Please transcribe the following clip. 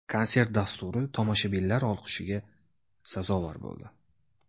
Konsert dasturi tomoshabinlar olqishiga sazovor bo‘ldi.